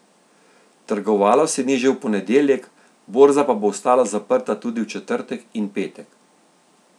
Trgovalo se ni že v ponedeljek, borza pa bo ostala zaprta tudi v četrtek in petek.